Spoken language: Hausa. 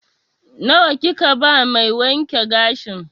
Nawa kika ba mai wanke gashin?